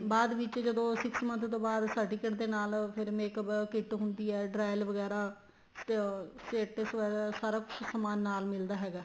ਬਾਅਦ ਵਿੱਚ ਜਦੋਂ six month ਤੋ ਬਾਅਦ certificate ਦੇ ਨਾਲ ਫ਼ੇਰ makeup kit ਹੁੰਦੀ ਏ Derail ਵਗੈਰਾ ਅਹ ਸਾਰਾ ਕੁੱਛ ਸਮਾਨ ਨਾਲ ਮਿਲਦਾ ਹੈਗਾ